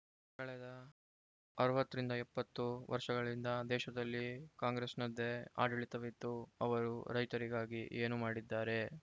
ಕಳೆದ ಅರವತ್ತ ರಿಂದ ಎಪ್ಪತ್ತು ವರ್ಷಗಳಿಂದ ದೇಶದಲ್ಲಿ ಕಾಂಗ್ರೆಸ್‌ನದ್ದೇ ಆಡಳಿತವಿತ್ತು ಅವರು ರೈತರಿಗಾಗಿ ಏನು ಮಾಡಿದ್ದಾರೆ